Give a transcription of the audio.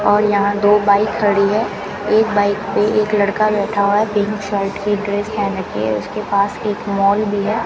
और यहां दो बाइक खड़ी है एक बाइक पे एक लड़का बैठा हुआ है पिंक शर्ट की ड्रेस पहन रखी है उसके पास एक मॉल भी है।